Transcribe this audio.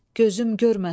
Gözüm görməsin.